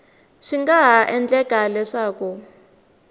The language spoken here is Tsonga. swi nga ha endleka leswaku